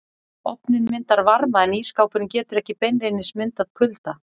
Ofninn myndar varma en ísskápurinn getur ekki beinlínis myndað kulda.